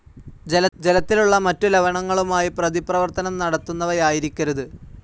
ജലത്തിലുള്ള മറ്റു ലവണങ്ങളുമായി പ്രതിപ്രവർത്തനം നടത്തുന്നവയായിരിക്കരുത്